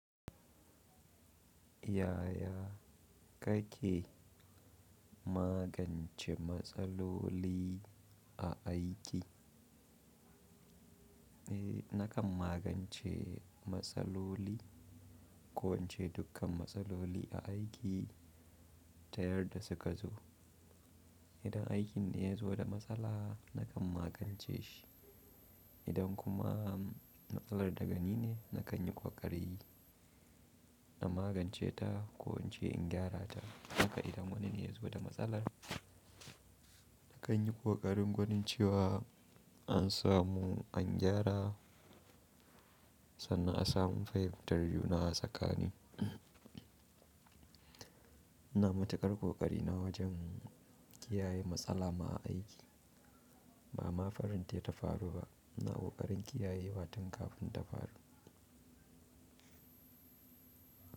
Yaya kake magance matsaloli a aiki? Eh, nakan magance matsaloli, ko in ce dukkan matsaloli a aiki ta yarda suka zo. Idan aikin ne ya zo da matsala nakan magance shi. Idan kuma matsalar daga ni ne, na kan yi ƙoƙari na magance ta ko in ce in gyara ta. Hakka idan wani ne ya zo da matsalar, na kan yi ƙoƙarin gonin cewa an samu an gyara sannan a samu fahirtar juna a tsakani. Ina matuƙar ƙoƙari na wajen kiyaye matsala ma a aiki. Ba ma farin tayi ta faru ba, ina ƙoƙarin kiyayewa tun kafin ta faru.